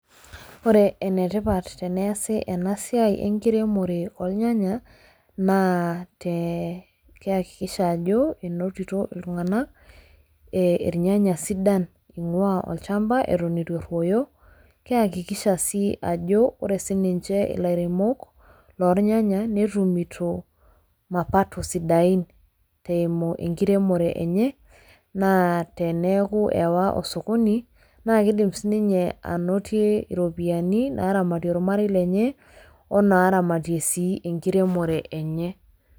Ore enetipat teneasi ena siai enkiremore oo nyanya, naa keakikisha ajo inotito iltunganak ilnyanya sidan inguaa olchamba aton eitu erroyo, keakikisha sii ajo ore sii ninje ilairemok loo nyanya netumito mapato sidain eeimu enkiremore enye neeku teneeku eewa osokoni, naa kiidim sininye anotie iropiyiani naaramatie ilmarei lenye, oo naaramatie sii enkiremore enye.